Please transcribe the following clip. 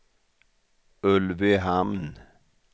Ulvöhamn